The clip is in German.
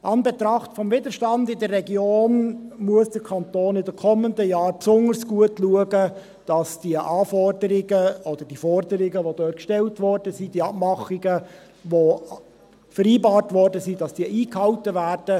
Im Anbetracht des Widerstands in der Region muss der Kanton in den kommenden Jahren besonders gut schauen, dass die Anforderungen oder Forderungen, die dort gestellt wurden, die Abmachungen, die vereinbart wurden, eingehalten werden.